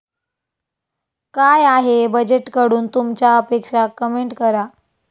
काय आहे बजेटकडून तुमच्या अपेक्षा, कमेंट करा